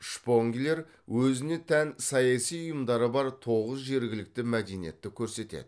шпонглер өзіне тән саяси ұйымдары бар тоғыз жергілікті мәдениетті көрсетеді